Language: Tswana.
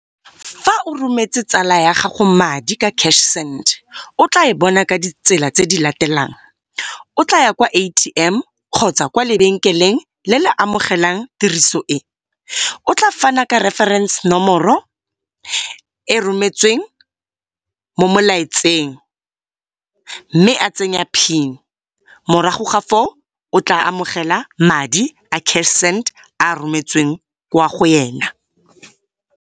Fa o rometse tsala ya gago madi ka cash send, o tla e bona ka ditsela tse di latelang. O tla ya kwa A_T_M kgotsa kwa lebenkeleng le le amogelang tiriso e. O tla faana ka reforense nomoro e rometsweng mo molaetseng mme a tsenya PIN. Morago ga foo, o tla amogela madi a cash send a rometsweng kwa go yena.